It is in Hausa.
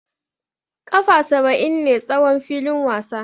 Kafa saba'in ne tsawon filin wasa.